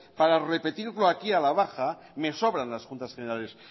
para repetirlo aquí a la baja me sobran las juntas generales